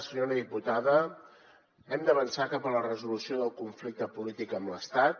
senyora diputada hem d’avançar cap a la resolució del conflicte polític amb l’estat